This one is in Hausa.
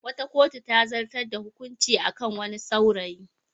Wata kotu ta zartar da hukunci a kan wani saurayi.